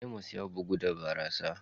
Amos ya bugu da barasa.